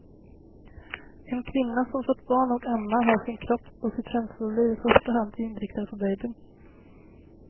En kvinna som fött barn och ammar har sin kropp och sitt känsloliv i första hand inriktad på babyn.